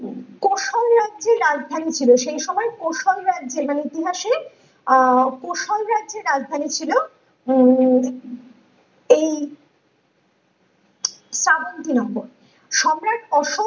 কৌশল রাজ্যের রাজধানী ছিল ।সেই সময় কৌশল রাজ্যের মানে ইতিহাসে আহ কৌশল রাজ্যের রাজধানী ছিল হম এই চাবত্তি নগর সম্রাট অশোক